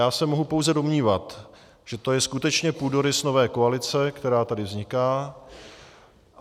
Já se mohu pouze domnívat, že to je skutečně půdorys nové koalice, která tady vzniká.